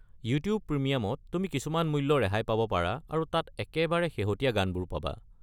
YouTube প্ৰিমিয়ামত তুমি কিছুমান মূল্য ৰেহাই পাব পাৰা আৰু তাত একেবাৰে শেহতীয়া গানবোৰো পাবা।